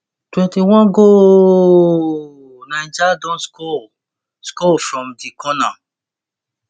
twenty-one gooooooaaaaaallllll niger don score score from di corner